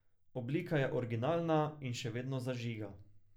Oblika je originalna in še vedno zažiga.